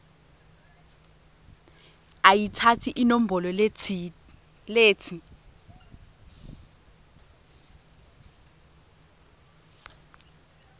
ayitsatse inombolo letsi